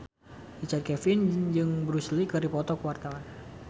Richard Kevin jeung Bruce Lee keur dipoto ku wartawan